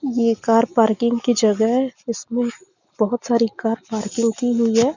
ये car parking की जगह है इसमे बहोत सारी कार पार्किंग की गयी है।